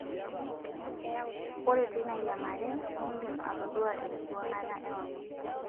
Ore teina yiangare, indim atodua enkiwuangata ewang'an.